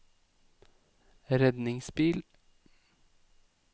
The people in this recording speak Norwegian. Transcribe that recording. redningsbil